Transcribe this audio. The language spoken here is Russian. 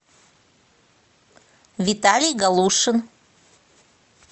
виталий галушин